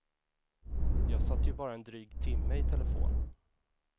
Jag satt ju bara en dryg timme i telefon.